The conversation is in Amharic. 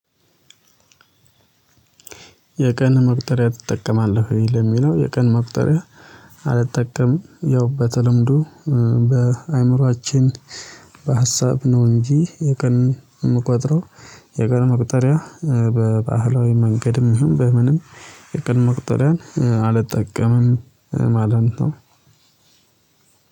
የቀን መቁጠሪያ ትጠቀማለህ ወይ? ለሚለው የቀን መቅጠሪያ አልጠቀም ያው በተለምዶ በአእምሮአችን በሀሳብ ነው እንጂ የቀን የምቆጥረው የቀን መቁጠሪያ በባህላዊ መንገድም ይሁን በምንም የቀን መቁጠሪያን አልጠቀምም ማለት ነው።